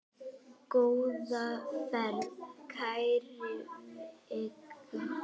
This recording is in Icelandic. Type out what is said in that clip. Góða ferð, kæra Veiga.